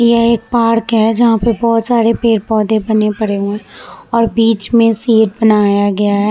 यह एक पार्क है। जहा पे बोहोत सरे पेड़-पौधे बने पड़े हुए है और बिच में बनाया गया है।